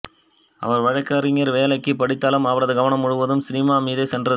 அவர் வழக்கறிஞர் வேலைக்கு படித்தாலும் அவரது கவனம் முழுவதும் சினிமா மீதே சென்றது